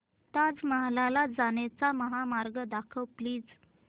ताज महल ला जाण्याचा महामार्ग दाखव प्लीज